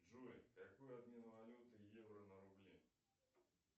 джой какой обмен валюты евро на рубли